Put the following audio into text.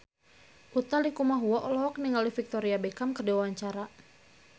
Utha Likumahua olohok ningali Victoria Beckham keur diwawancara